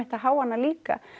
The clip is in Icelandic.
að heyja hana líka